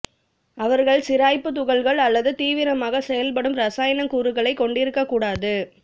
அவர்கள் சிராய்ப்பு துகள்கள் அல்லது தீவிரமாக செயல்படும் இரசாயன கூறுகளை கொண்டிருக்க கூடாது